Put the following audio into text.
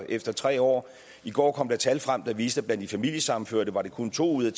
efter tre år i går kom der tal frem der viste at blandt de familiesammenførte var det kun to ud af